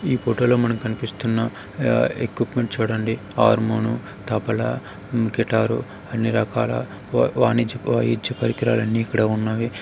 ఈ ఫోటో లో మనకి కనిపిస్తున్న ఆ ఎక్విప్మెంట్ చూడండి. హార్మోన్ తబలా గిటారు అన్ని రకాల వ-వాణిజ్య వాయిద్య పరికరాలన్ని ఇక్కడ ఉన్నవి.